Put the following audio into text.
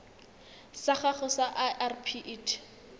sa gago sa irp it